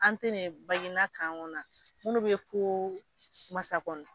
An tɛ nin ye Banginda kan kɔnɔna minnu bɛ fo Masakɔnɔ